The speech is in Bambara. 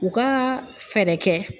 U ka fɛɛrɛ kɛ.